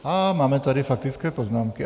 Á, máme tady faktické poznámky.